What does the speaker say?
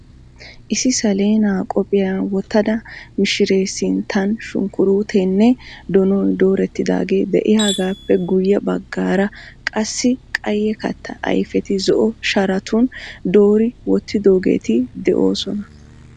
Issi saleenaa qophiya wottida mishiree sinttan shunkkuruuteenne donoy doorettidaagee de"iyaagaappe guyye baggaara qassi qayye kattaa ayfeta zo"o sharatun doori wottoogeeti de'oosona.